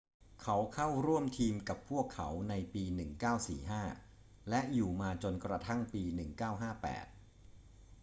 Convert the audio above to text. เขาเข้าร่วมทีมกับพวกเขาในปี 1945 และอยู่มาจนกระทั่งปี 1958